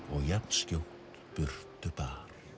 og jafnskjótt burtu bar